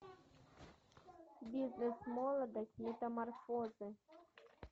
бизнес молодость метаморфозы